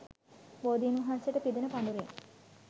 බෝධීන් වහන්සේට පිදෙන පඬුරෙන්